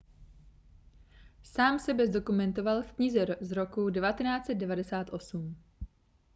sám sebe zdokumentoval v knize z roku 1998